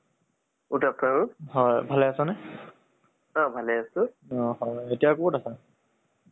হয়। তাহে ৰাহুল আহ না বহুত দিন পিছত তোমাক call কৰিছো, অলপ খবৰ পাতি কৰো বুলি।